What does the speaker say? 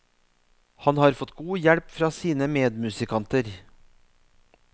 Han har fått god hjelp fra sine medmusikanter.